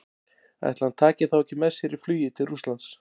Ætli hann taki þá ekki með sér í flugið til Rússlands?